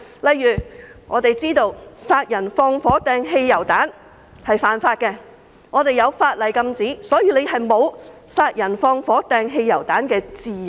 例如殺人、放火、擲汽油彈是犯法的行為，法例禁止這樣做，所以人們沒有殺人、放火、擲汽油彈的自由。